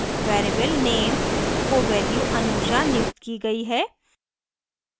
variable name को value anusha नियुक्त की गयी है